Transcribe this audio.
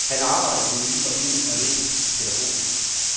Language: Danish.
Han arbejder i den nye forening og læser til pædagog.